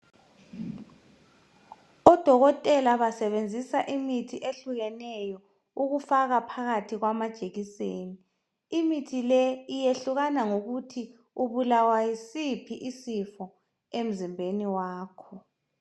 Odokotela basebenzisa imithi ehlukeneyo ukufaka phakathi kwamajekiseni. Imithi le iyehlukana ngokuthi ubulawa yisiphi isifo emzimbeni wakho